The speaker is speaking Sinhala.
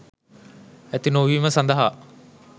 ඇති නොවීම සඳහා